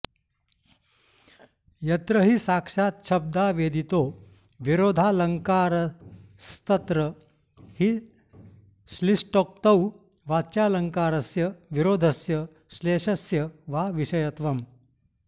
यत्र हि साक्षाच्छब्दावेदितो विरोधालङ्कारस्तत्र हि श्लिष्टोक्तौ वाच्यालङ्कारस्य विरोधस्य श्लेषस्य वा विषयत्वम्